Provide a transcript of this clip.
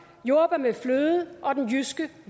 jordbær med fløde og den jyske